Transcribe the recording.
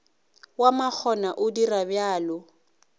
wa makgona o dira bjalo